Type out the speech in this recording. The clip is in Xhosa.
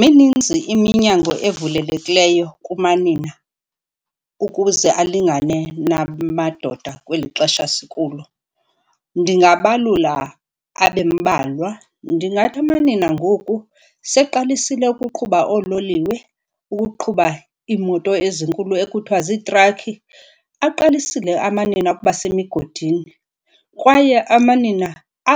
Mininzi iminyango evulekileyo kumanina ukuze abalingane namadoda kweli xesha sikulo, ndingabalula abe mbalwa. Ndingathi amanina angoku seqalisile ukuqhuba oololiwe, ukuqhuba iimoto ezinkulu ekuthiwa ziitrakhi. Aqalisile amanina ukuba semigodini kwaye amanina